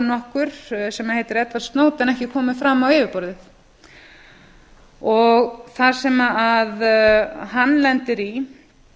nokkur sem heitir edward snowden ekki komið fram á yfirborðið það sem hann lendir í er